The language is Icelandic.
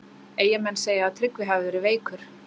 Eyjamenn segja að Tryggvi hafi verið veikur.